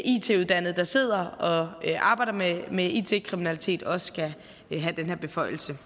it uddannet der sidder og arbejder med med it kriminalitet også skal have den her beføjelse